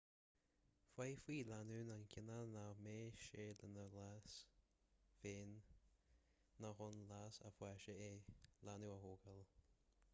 féadfaidh lánúin a chinneadh nach mbeadh sé lena leas féin ná chun leas a pháiste é leanbh a thógáil